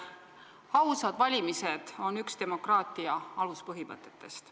Ausad valimised on üks demokraatia aluspõhimõtetest.